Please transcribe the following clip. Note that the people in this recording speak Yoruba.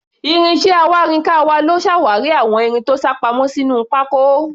Ìrìn iṣẹ́ awárinkàn wa ló ṣàwárí àwọn irin tó sápamọ́ sínú pákó.